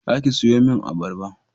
Za ki sayo min abarba